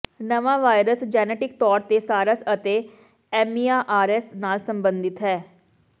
ਨਵਾਂ virus genetic ਤੌਰ ਤੇ ਸਾਰਸ ਅਤੇ ਐਮਈਆਰਐਸ ਨਾਲ ਸਬੰਧਤ ਹੈ